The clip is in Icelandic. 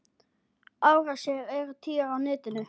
Árásir eru tíðar á netinu.